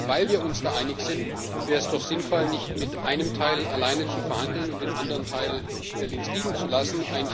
Aber gerade weil wir uns da einig sind, wäre es doch sinnvoll, nicht mit einem Teil alleine zu verhandeln und den anderen Teil links liegen zu lassen.